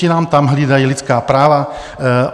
Ti nám tam hlídají lidská práva.